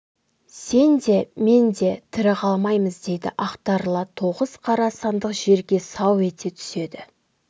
сен де мен де тірі қалмаймыз дейді ақтарыла тоғыз қара сандық жерге сау ете түседі